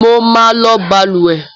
Mo máa lò balùwẹ́